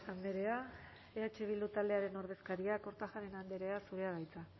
andrea eh bildu taldearen ordezkaria kortajarena andrea zurea da hitza